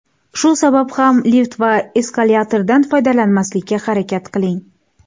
Shu sabab ham lift va eskalatordan foydalanmaslikka harakat qiling.